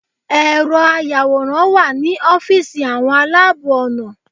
Ẹ̀rọ ayàwòrán wà ní ọ́fíìsì àwọn aláàbọ̀ ọ̀nà.